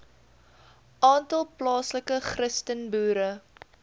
aantal plaaslike christenboere